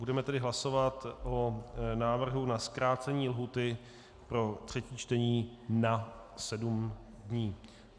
Budeme tedy hlasovat o návrhu na zkrácení lhůty pro třetí čtení na sedm dní.